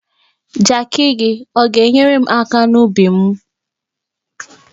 Jakị gi, ọ ga-enyerem aka n'ubim?